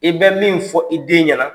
I bɛ min fɔ, i den ɲɛna